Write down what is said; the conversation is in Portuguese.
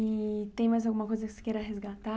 E tem mais alguma coisa que você queira resgatar?